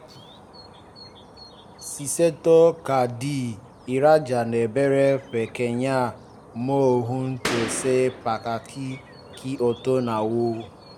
ṣíṣètò káàdì ìrajà ń béèrè pé kéèyàn mọ ohun tó ṣe pàtàkì kí ó tó na owó